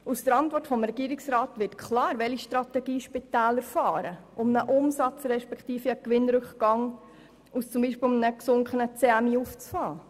Aus der Antwort des Regierungsrats wird klar, welche Strategie Spitäler fahren, um einen Umsatz respektive einen Gewinnrückgang aus beispielsweise einem gesunkenen CMI aufzufangen.